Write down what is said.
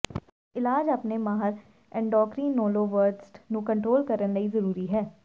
ਜਦ ਇਲਾਜ ਆਪਣੇ ਮਾਹਰ ਐੱਨਡੋਕਰੀਨੋਲੋਵਜਸਟ ਨੂੰ ਕੰਟਰੋਲ ਕਰਨ ਲਈ ਜ਼ਰੂਰੀ ਹੈ